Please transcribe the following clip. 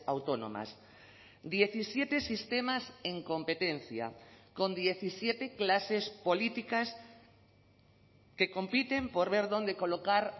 autónomas diecisiete sistemas en competencia con diecisiete clases políticas que compiten por ver dónde colocar